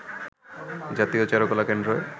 জাতীয় চারুকলা কেন্দ্রে